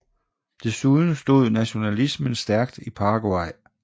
Desuden stod nationalismen stærkt i Paraguay